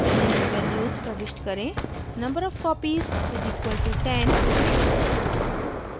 निम्न values प्रविष्ट करेंnumber of copies = 10